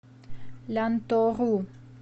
лянтору